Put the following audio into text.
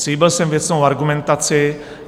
Slíbil jsem věcnou argumentaci.